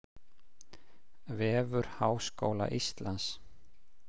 Vefur Háskóla Íslands